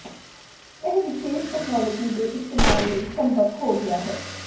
ਇਹ ਵਿਸ਼ੇਸ਼ ਤਕਨਾਲੋਜੀ ਦੇ ਇਸਤੇਮਾਲ ਲਈ ਸੰਭਵ ਹੋ ਗਿਆ ਹੈ